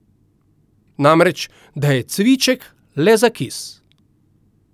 Namreč, da je cviček le za kis.